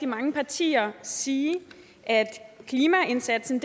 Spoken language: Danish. mange partier sige at klimaindsatsen